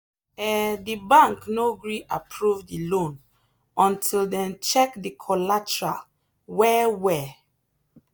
um the bank no gree approve the loan until dem check the collateral well well.